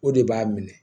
O de b'a minɛ